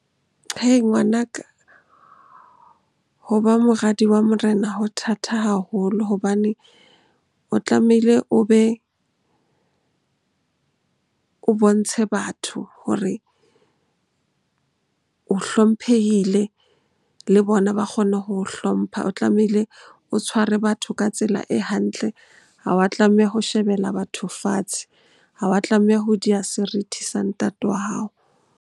Ngwanaka, ho ba moradi wa morena ho thata haholo hobane o tlamehile o be, o bontshe batho hore o hlomphehile le bona ba kgone ho hlompha. O tlamehile o tshware batho ka tsela e hantle, ha wa tlameha ho shebella batho fatshe. Ha wa tlameha ho diha serithi sa ntate wa hao.